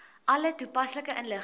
alle toepaslike inligting